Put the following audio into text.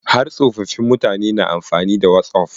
Har tsofaffin mutane na amfani da wasof.